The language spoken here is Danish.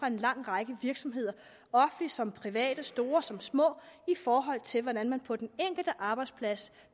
en lang række virksomheder offentlige som private store som små i forhold til hvordan man på den enkelte arbejdsplads